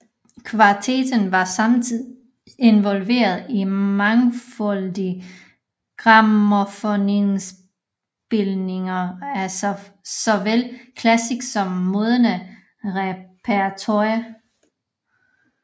Kvartetten var samtidig involveret i mangfoldige grammofonindspilninger af såvel klassisk som moderne repertoire